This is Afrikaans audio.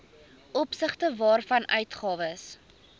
opsigte waarvan uitgawes